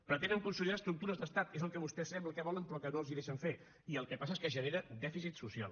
pretenen consolidar estructures d’estat és el que vostè sembla que volen però que no els ho deixen fer i el que passa és que genera dèficit social